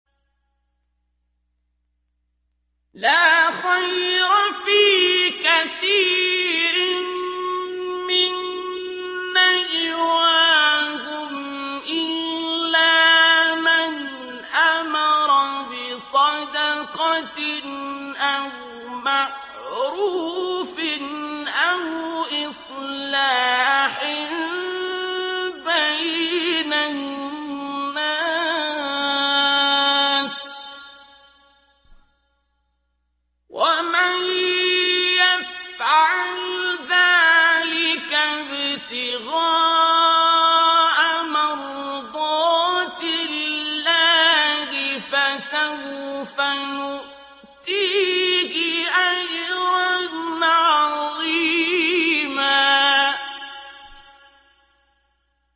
۞ لَّا خَيْرَ فِي كَثِيرٍ مِّن نَّجْوَاهُمْ إِلَّا مَنْ أَمَرَ بِصَدَقَةٍ أَوْ مَعْرُوفٍ أَوْ إِصْلَاحٍ بَيْنَ النَّاسِ ۚ وَمَن يَفْعَلْ ذَٰلِكَ ابْتِغَاءَ مَرْضَاتِ اللَّهِ فَسَوْفَ نُؤْتِيهِ أَجْرًا عَظِيمًا